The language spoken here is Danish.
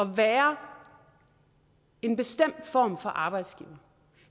være en bestemt form for arbejdsgiver